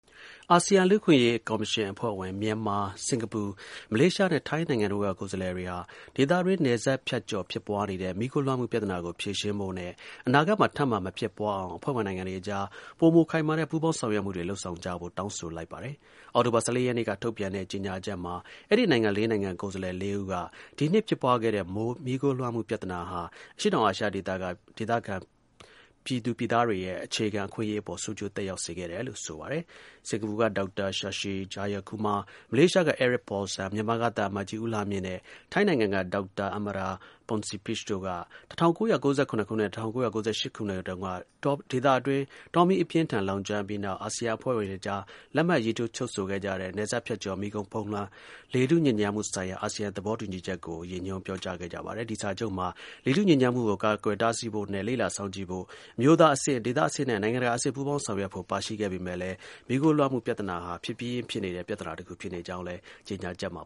အာဆီယံ လူ့အခွင့်အရေးကော်မရှင် (AHRC) အဖွဲ့ဝင် မြန်မာ၊ စင်္ကာပူ၊ မလေးရှားနဲ့ ထိုင်းနိုင်ငံတို့က ကိုယ်စားလှယ်တွေက ဒေသတွင်း နယ်စပ်ဖြတ်ကျော် ဖြစ်ပွားနေတဲ့ မီးခိုးလွှမ်းမှုပြဿနာကို ဖြေရှင်းဖို့နဲ့ အနာဂတ်မှာ ထပ်မံ မဖြစ်ပွားအောင် အဖွဲ့ဝင်နိုင်ငံတွေအကြား ပိုမို ခိုင်မာတဲ့ ပူးပေါင်း ဆောင်ရွက်မှုတွေ လုပ်ဆောင်ကြဖို့ တောင်းဆိုလိုက်ပါတယ်။ အောက်တိုဘာလ ၁၄ ရက်နေ့ကထုတ်ပြန်တဲ့ ကြေညာချက်မှာ အဲဒီ နိုင်ငံလေးနိုင်ငံ ကိုယ်စားလှယ် လေးဦးက ဒီနှစ်အတွင်း ဖြစ်ပွားခဲ့တဲ့ မီးခိုးလွှမ်းမှုပြဿနာဟာ အရှေ့တောင်အာရှဒေသက အာဆီယံ ပြည်သူပြည်သားတွေရဲ့ အခြေခံ အခွင့်အရေးအပေါ် ဆိုးကျိုးသက်ရောက်စေတယ်လို့ ဆိုပါတယ်။ စင်္ကာပူက ဒေါက်တာ Shashi Jayakumar ၊ မလေးရှားက Eric Paulsen ၊ မြန်မာက သံအမတ်ကြီး ဦးလှမြင့်နဲ့ ထိုင်းနိုင်ငံက ဒေါက်တာ Amara Pongsapich တို့က ၁၉၉၇ နဲ့ ၁၉၉၈ ခုနှစ်တုန်းက ဒေသတွင်း တောမီး အပြင်းအထန် လောင်ကျွမ်းပြီးနောက် အာဆီယံ အဖွဲ့ဝင်တွေအကြား လက်မှတ်ရေးထိုး ချုပ်ဆိုခဲ့တဲ့ နယ်စပ်ဖြတ်ကျော် မီးခိုးဖုန်းလွှမ်း လေထုညစ်ညမ်းမှုဆိုင်ရာ အာဆီယံ သဘောတူစာချုပ် (AATHP) ကို ရည်ညွှန်ပြောကြားခဲ့ကြပါတယ်။ ဒီ စာချုပ်မှာ လေထုညစ်ညမ်းမှုကို ကာကွယ်တားဆီးဖို့နဲ့ လေ့လာစောင့်ကြည့်ဖို့ အမျိုးသားအဆင့်၊ ဒေသအဆင့်နဲ့ နိုင်ငံတကာ အဆင့် ပူးပေါင်းဆောင်ရွက်ဖို့ ပါရှိပေမဲ့လည်း မီးခိုးလွှမ်းမှုပြဿနာဟာ ဖြစ်ပြီးရင်းဖြစ်နေတဲ့ ပြဿနာတစ်ခု ဖြစ်နေကြောင်းလည်း ကြေညာချက်မှ